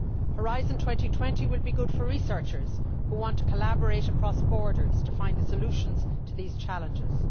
Horizon 2020 will be good for researchers who want to collaborate across borders to find the solutions to these challenges.